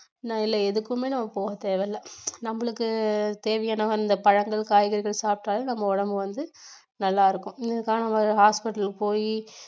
இல்லை எதுக்குமே நம்ம போகத் தேவையில்லை நம்மளுக்கு தேவையான அந்த பழங்கள், காய்கறிகள் சாப்பிட்டாலே நம்ம உடம்பு வந்து நல்லாயிருக்கும், hospital போயி